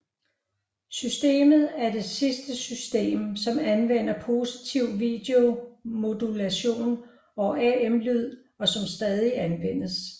Systemet er det sidste system som anvender positiv video modulation og AM lyd og som stadig anvendes